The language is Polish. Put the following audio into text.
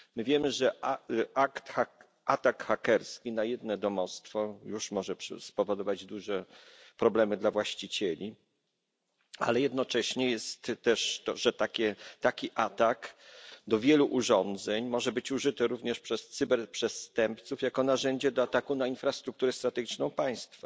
Wiemy, że atak hakerski na jedno domostwo już może spowodować duże problemy dla właścicieli, ale jednocześnie jest też tak, że taki atak na wiele urządzeń może być użyty również przez cyberprzestępców jako narzędzie do ataku na infrastrukturę strategiczną państwa.